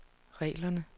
reglerne